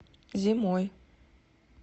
зимой